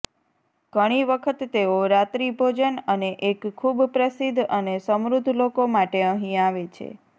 ઘણી વખત તેઓ રાત્રિભોજન અને એક ખૂબ પ્રસિદ્ધ અને સમૃદ્ધ લોકો માટે અહીં આવે છે